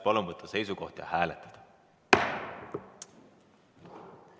Palun võtta seisukoht ja hääletada!